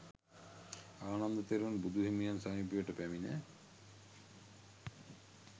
ආනන්ද තෙරුන් බුදු හිමියන් සමීපයට පැමිණ